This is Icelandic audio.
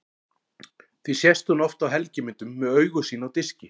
Því sést hún oft á helgimyndum með augu sín á diski.